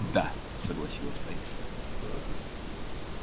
да согласилась лариса